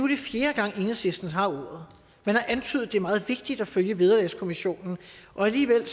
det fjerde gang at enhedslisten har ordet man har antydet at det er meget vigtigt at følge vederlagskommissionen og alligevel